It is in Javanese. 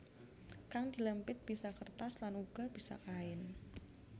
Kang dilempit bisa kertas lan uga bisa kain